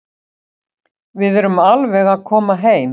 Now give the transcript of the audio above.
Við erum alveg að koma heim.